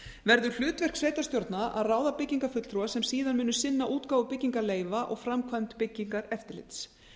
verði hlutverk sveitarstjórna að ráða byggingarfulltrúa sem síðan muni sinna útgáfu byggingarleyfa og framkvæmd byggingareftirlits